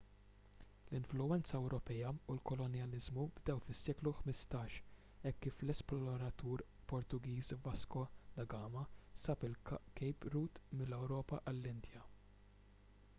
l-influwenza ewropea u l-kolonjaliżmu bdew fis-seklu 15 hekk kif l-esploratur portugiż vasco da gama sab il-cape route mill-ewropa għall-indja